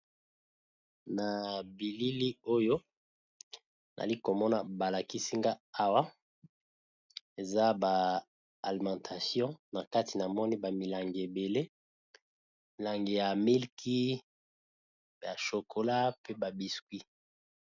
Na bilili oyo nali komona balakisinga awa eza ba alimentation na kati na moni bamilangi ebele milangi ya milki ya shokola pe ba biscuit.